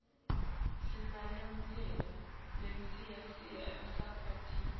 sinalemirye leslyiva emsakatweni